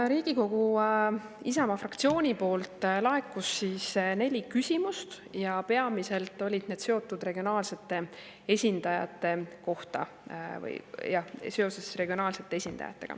Riigikogu Isamaa fraktsioonilt laekus neli küsimust ja peamiselt olid need regionaalsete esindajate kohta.